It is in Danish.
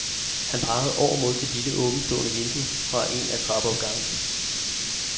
Han pegede over mod et lille åbentstående vindue fra en af trappeopgangene.